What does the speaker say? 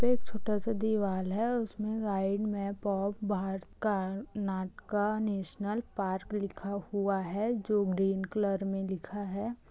पे एक छोटा सा दीवाल है उसमें गाइड मैप ऑफ़ बहड़ का नाटक नेशनल पार्क लिखा हुआ है जो ग्रीन कलर में लिखा है।